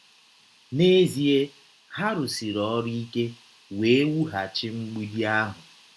N’ezie, ha rụsiri ọrụ ike wee wụghachi mgbidi ahụ.